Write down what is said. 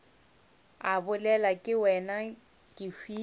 a bolelwa ke wena kehwile